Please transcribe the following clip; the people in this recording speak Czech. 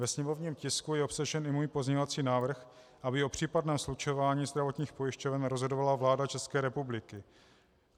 Ve sněmovním tisku je obsažen i můj pozměňovací návrh, aby o případném slučování zdravotních pojišťoven rozhodovala vláda České republiky.